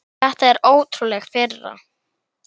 Þetta er ótrúleg firra.